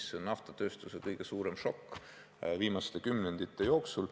See on naftatööstuse kõige suurem šokk viimaste kümnendite jooksul.